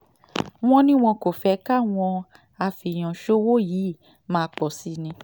wọ́n ní wọn kò fẹ́ káwọn afẹ́èyàn ṣòwò yìí máa pọ̀ sí i ni